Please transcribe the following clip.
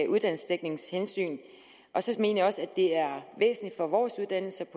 uddannelsesdækningshensyn så mener jeg også at det er væsentligt for vores uddannelser